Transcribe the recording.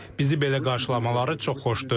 Bizi belə qarşılamaları çox xoşdur.